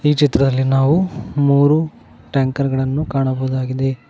ಈ ಚಿತ್ರದಲ್ಲಿ ನಾವು ಮೂರು ಟ್ಯಾಂಕರ್ ಗಳನ್ನು ಕಾಣಬಹುದಾಗಿದೆ.